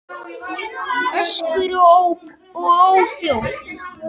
Öskur og óp og óhljóð.